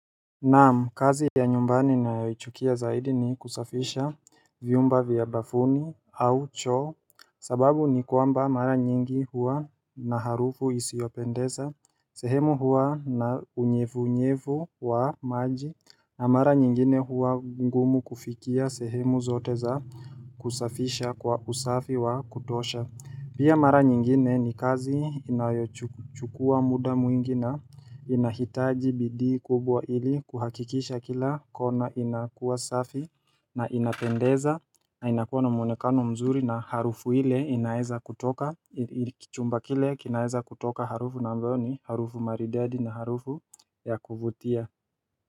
Naam, kazi ya nyumbani ninayoichukia zaidi ni kusafisha vyumba vya bafuni au choo sababu ni kwamba mara nyingi huwa na harufu isiyopendeza sehemu huwa na unyevu unyevu wa maji na mara nyingine hua ngumu kufikia sehemu zote za kusafisha kwa usafi wa kutosha. Pia mara nyingine ni kazi inayochukua muda mwingi na inahitaji bidii kubwa ili kuhakikisha kila kona inakua safi na inapendeza na inakuwa na mwonekano mzuri na harufu ile inaeza kutoka, chumba kile kinaeza kutoka harufu na mbioni, harufu maridadi na harufu ya kuvutia.